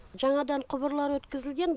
жаңадан құбырлар өткізілген